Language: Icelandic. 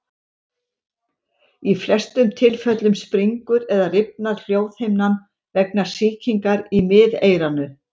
Í flestum tilfellum springur eða rifnar hljóðhimnan vegna sýkingar í miðeyranu.